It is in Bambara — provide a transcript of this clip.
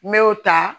N me o ta